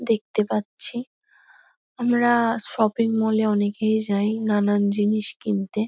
দেখতে পাচ্ছি। আমরা শপিং মল -এ অনেকেই যাই নানান জিনিস কিনতে।